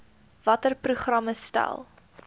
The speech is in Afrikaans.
watter programme stel